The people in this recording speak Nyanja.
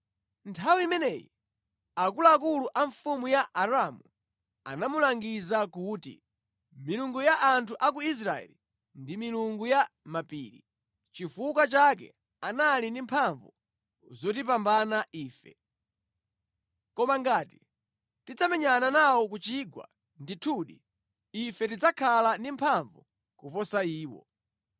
Nthawi imeneyi, akuluakulu a mfumu ya Aramu anamulangiza kuti, “Milungu ya anthu a ku Israeli ndi milungu ya mʼmapiri. Nʼchifukwa chake anali ndi mphamvu zotipambana ife. Koma ngati tidzamenyana nawo ku chigwa, ndithudi ife tidzakhala ndi mphamvu kuposa iwo.